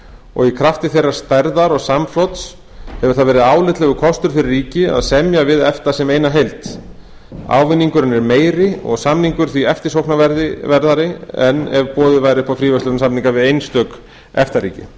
og í krafti þeirrar stærðar og samflots hefur það verið álitlegur kostur fyrir ríki að semja við efta sem eina heild ávinningurinn er meiri og samningur því eftirsóknarverðari en ef boðið væri upp á fríverslunarsamninga við einstök efta